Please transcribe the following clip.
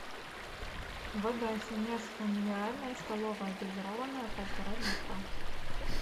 вода сенежская минеральная столовая газированная полтора литра